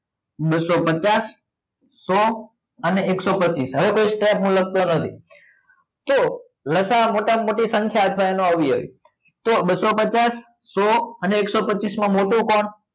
બસસો પચાસ સો અને એકસો પચીસ હવે કોઈ stop હું લખતો નથી તો લસાઅ મોટા મોટી સંખ્યા આવી જાય તો બસસો પચાસ સો અને એકસો પચીસ માં મોટું કોણ?